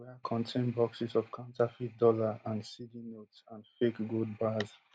wia contain boxes of counterfeit dollar and cedi notes and fake gold bars